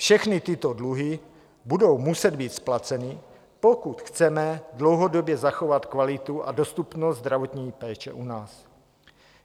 Všechny tyto dluhy budou muset být splaceny, pokud chceme dlouhodobě zachovat kvalitu a dostupnost zdravotní péče u nás.